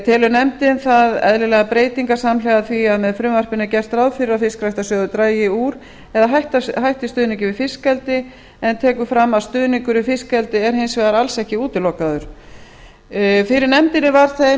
telur nefndin það eðlilegar breytingar samhliða því að með frumvarpinu er gert ráð fyrir að fiskræktarsjóður dragi úr eða hætti stuðningi við fiskeldi en tekur fram að stuðningur við fiskeldi er alls ekki útilokaður fyrir nefndinni var þeim